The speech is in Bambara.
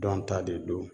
Dɔn ta de don